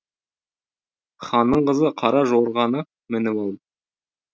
ханның қызы қара жорғаны мініп ал